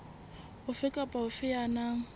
ofe kapa ofe ya nang